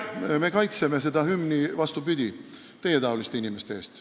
Vastupidi, me kaitseme seda hümni teietaoliste inimeste eest.